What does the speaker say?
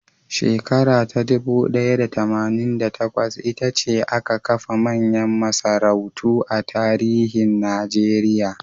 Shekara ta dubu ɗaya da tamanin da takwas, ita ce aka kafa manyan masarautu a tarihin Najeriya.